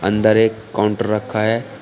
अंदर एक काउंटर रखा है।